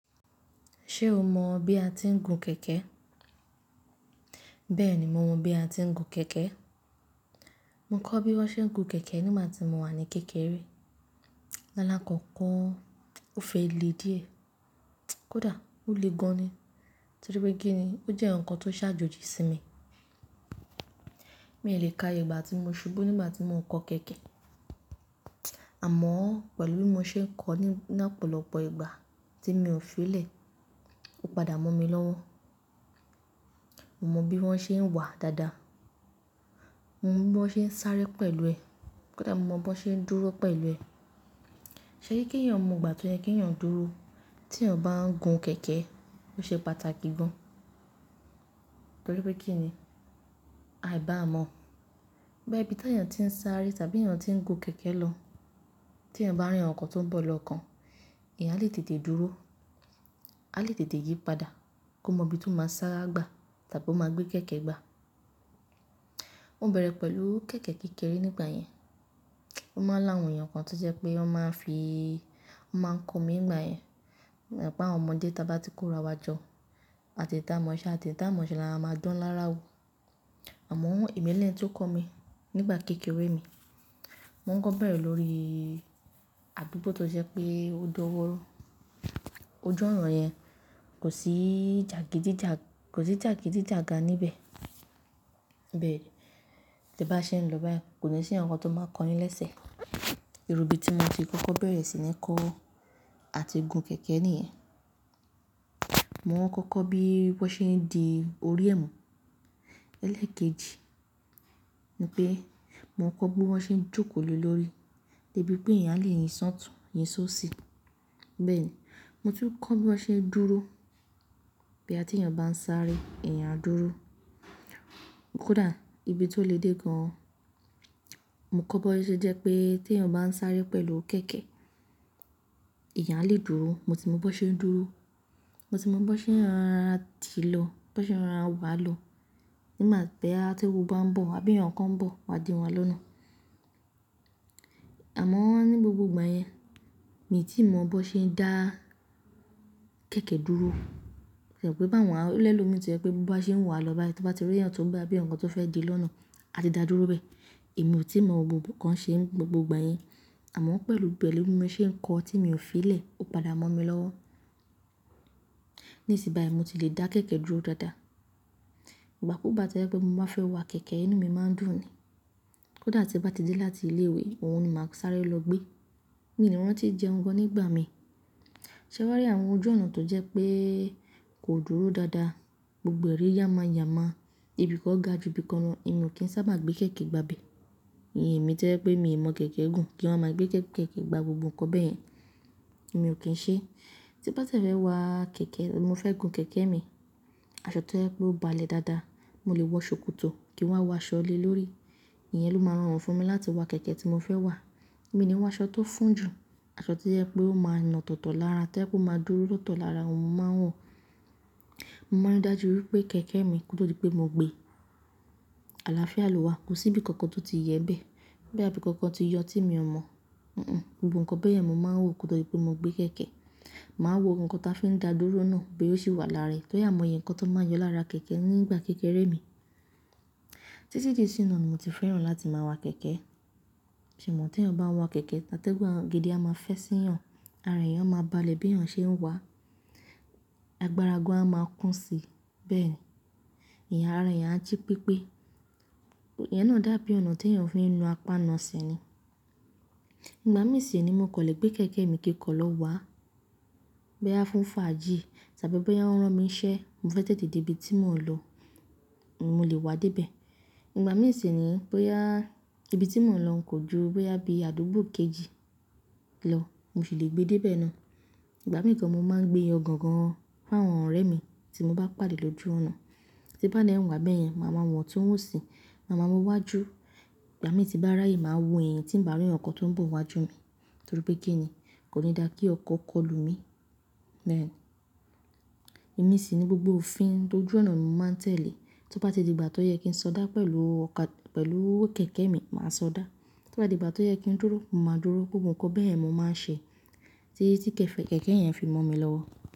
Ṣe o mọ bi a ti ń gun kẹ̀kẹ́? Bẹ́ẹ̀ni mo mọ bi a ti ń gun kẹ̀kẹ́. Mo kọ́ bi wón ṣe ń gun kẹ̀kẹ́ nígbà tí mo wà ní kékeré. Lálá kókó o fẹ́ le díẹ̀. Kódà ó le gan ni. Torí pé kí ni, ó jẹ́ ǹkan tó ṣàjòjì sí mi. Mi ò lè ka iyègbà tí mo ṣubú nígbà tí mò ń kọ́ kẹ̀kẹ́. Àmọ́ pẹ̀lú bí mo ṣe ń kọ́ ní opọ̀lọpọ̀ ìgbà tí mi ò fi ìlẹ̀, ó padà mọ́ mi lọ́wọ́. Mo mọ bí wọ́n ṣe ń wà dáadáa. Mo mọ bí wọ́n ṣe ń sáré pẹ̀lú ẹ̀. Kódà mo mọ bí wọ́n ṣe ń dúró pẹ̀lú ẹ̀. Ṣe kí kí èèyàn mọ ìgbà tó yẹ kí èèyàn dúró tí èèyàn bá ń gun kẹ̀kẹ́, ó ṣe pàtàkì gan. Torí pé kí ni, a ìbá mọ̀ pé bí tí èèyàn tí ń sáré tàbí èèyàn tí ń gun kẹ̀kẹ́ lọ, tí èèyàn bá rí ǹkan tó ń bọ̀ lọ́kàn, èèyàn á lè tètè dúró, á lè tètè yípadà kó mọ ibi tó máa sára gbà tàbí ó máa gbé kẹ̀kẹ́ gbà. Ó bẹ̀rẹ̀ pẹ̀lú kẹ̀kẹ́ kékeré nígbà yẹn. Ó máa ńi àwon eèyan kan tó jẹ́ pé wọ́n máa ń fi, wọ́n máa ń kọ mi nígbà yẹn. E mò pé àwa ọmọdé tí a bá ti kó ra wá jọ, àti èyï tí a mòse àti èyí tí a o mọ̀ṣẹ́ là ń máa dán lára wò. Àmọ́ èmi ní eni tí ó kọ́ mi nígbà kékeré mi, wọ́n kọ́ bẹ̀rẹ̀ lórí àdúgbò tó jẹ́ pé ó dan mórán. Ojú ònà yẹn kò sí jàgídíjàgà níbẹ̀. Bẹ́ẹ̀ tí bá ṣe ń lọ báyìí kò ní sí ǹkan tó máa kó yín lẹ́sẹ̀. Irúbi tí mo fi kọ́kọ́ bẹ̀rẹ̀ sí ní kọ́ àti gun kẹ̀kẹ́ nìyẹn. Mo kọ́kọ́ bí wọ́n ṣe ń di orí ẹ̀mú. Ẹlẹ́ẹ̀kejì ni pé mo kọ́ bí wọ́n ṣe ń jókòó lé lórí, débi pé èèyàn a lè yín ṣọtùn, yín ṣó sì. Bẹ́ẹ̀ ni, mo tún kọ́ bí wọ́n ṣe ń dúró. Bí atí èèyàn bá ń sáré, èèyàn á dúró. Kódà ibi tó le dé gan, mo kọ́ bó ṣe jẹ́ pé tí èèyàn bá ń sáré pẹ̀lú kẹ̀kẹ́, èèyàn á lè dúró. Mo ti mọ bí wọ́n ṣe ń dúró. Mo ti mọ bí wọ́n ṣe ń rora tìí lọ, bí wọ́n ṣe ń rora wà lọ. Nígbà tí ẹni tó ń bọ̀ àbí ǹkan ń bọ̀, wà di wọn lọ́nà. Àmọ́ ní gbogbo ìgbà yẹn, mi ò tí ì mọ bó ṣe ń dá kẹ̀kẹ́ dúró. Kíni pé báwo ni ẹlomii tí ẹ pé bó bá ṣe ń wà lọ báyìí, tí o bá ti rí ẹ̀yàn tó ń bo àbí ǹkan tó fẹ́ di lọ́nà, a ti dá dúró bẹ́ẹ̀. Èmi ò tí ì mọ gbogbo kan ṣe gbogbo ìgbà yẹn. Àmọ́ pẹ̀lú bẹ́ẹ̀ lórí mo ṣe ń kọ́ tí mi ò fi ìlẹ̀, ó padà mọ́ mi lọ́wọ́. Nísìnyí báyìí mo ti lè dá kẹ̀kẹ́ dúró dáadáa. Ìgbàkúgbá tójẹ́ pé mo bá fẹ́ wa kẹ̀kẹ́, inú mi máa ń dùn ni. Kódà tí bá ti dé láti ilé ìwé òun ni màá sáré lọ gbé. Mi ò ní mọ̀ wípé ó ti jẹun gan nígbà mi. Ṣé wàá rí àwọn ojú ònà tó jẹ́ pé kò dúró dáadáa, gbogbo ẹ̀rí yàmá yàmá, ibi kọ̀ ga ju ibi kan lọ, èmi ò kí ń sábà gbé kẹ̀kẹ́ gba ibi. Èmi tẹ́lẹ̀ pé mi ò mọ̀ kẹ̀kẹ́ gùn kí wọ́n máa gbé kẹ̀kẹ́ gba gbogbo ǹkan bẹ́ẹ̀ yẹn, èmi ò kí ń ṣe. Tí bá ti e fe wa kẹ̀kẹ́, mo fẹ́ gun kẹ̀kẹ́ mi. Aṣọ tí ẹ pé ó balẹ̀ dáadáa, mo lè wọ ṣòkòtò kí wọ́n wọ aṣọ lé lórí. Ìyẹn ló máa rọrùn fún mi láti wa kẹ̀kẹ́ tí mo fẹ́ wà. Mi ò ní wọ aṣọ tó fún jù, aṣọ tí ẹ pé ó máa nà tọ̀tọ̀ lára tẹ́ ẹ pé ó máa dúró lóòótọ́ lára òun, mo máa ń wọ̀. Mo máa ń rí dájú wípé kẹ̀kẹ́ mi kò tó pé mo gbé, àlàáfíà ló wà, kò sí bí kankan tó ti yẹ bẹ́ẹ̀. Bí àbí kankan ti yọ tí mi ò mọ̀. Hunhùn, gbogbo ǹkan bẹ́ẹ̀ yẹn mo máa ń wò kò tó pé mo gbé kẹ̀kẹ́. Màá wò ohun kan tí a fi ń dá dúró náà bóyá ó sì wà lára rẹ̀ torí àimo oye ǹkan tó máa yọ lára kẹ̀kẹ́ nígbà kékeré mi. Títí di sí nà mi ò tí fẹ́ràn láti máa wa kẹ̀kẹ́. E mọ tí èèyàn bá ń wa kẹ̀kẹ́, atégùn gidi a máa fẹ́ sí èèyàn, ara èèyàn máa balẹ̀ bí èèyàn ṣe ń wà. Agbára gan á máa kún si bẹ́ẹ̀ ni. Ara èèyàn á jí pípé. Ìyẹn náà dàbí ònà tí èèyàn fi ń na apá ná ese ni Ìgbà mìíràn sì ni mò kọ̀ lè gbé kẹ̀kẹ́ mi kíkan lọ wà bó yá fún fàájì tàbí bóyá wọ́n rán mi iṣẹ́ mo fẹ́ tètè dé ibi tí mò ń lọ, mo lè wá dé ibẹ̀. Ìgbà mìíràn sì ni bóyá ibi tí mò ń lọ kò ju bóyá bí àdúgbò kejì lọ, mo sì lè gbé dé ibẹ̀ náà. Ìgbà mìíràn kàn mo máa ń gbé yangan fún àwọn ọ̀rẹ́ mi tí mo bá pàdé lójú ọ̀nà. Tí bá nìyẹn wà bẹ́ẹ̀ yẹn, màá máa wọ̀n tí wọ́n ò sì, màá máa wọ́n wá jú. Ìgbà mi tí bá rí ààyè màá wò èyìn tí ń bá rí ǹkan tó ń bọ̀ wájú mi. Torí pé kí ni, kò ní dára kí ọ̀kọ̀ kọlù mi. Bẹ́ẹ̀ ni. Èmi sì ni gbogbo òfin ti ojú ònà mi màá tẹ̀lé. Tí ó bá ti di ìgbà tó yẹ kí n sọdá pẹ̀lú ọkà-- pẹ̀lú kẹ̀kẹ́ mi, màá sọdá. Tí ó bá di ìgbà tó yẹ kí n dúró, màá dúró. Gbogbo ǹkan bẹ́ẹ̀ yẹn mo máa ń ṣe. Tí kẹ̀kẹ́ yẹn fi mọ́ mi lọ́wọ́.